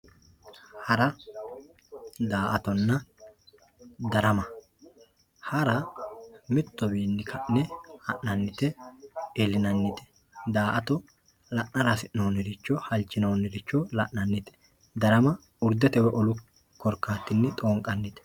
Hara daa`atonna darama hara mitowini ka`ne han`anita iilinanite daa`ato la`ara hasinoniricho la`nanite darama urdeteni wolu olini xonqanite